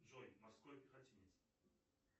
джой морской пехотинец